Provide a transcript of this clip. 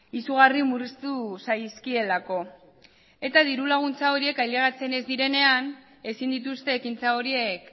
izugarri murriztu zaizkielako eta dirulaguntza horiek ailegatzen ez direnean ezin dituzte ekintza horiek